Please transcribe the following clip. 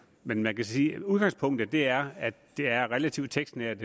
men man kan sige at udgangspunktet er at det er relativt tekstnært